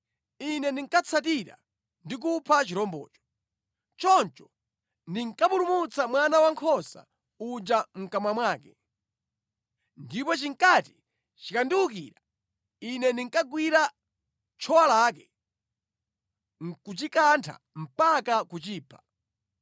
ine ndinkatsatira ndi kupha chirombocho. Choncho ndinkapulumutsa mwana wankhosa uja mʼkamwa mwake. Ndipo chinkati chikandiwukira, ine ndinkagwira tchowa lake, nʼkuchikantha mpaka kuchipha.